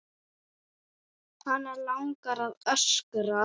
Hana langar að öskra.